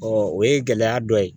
Ɔ o ye gɛlɛya dɔ ye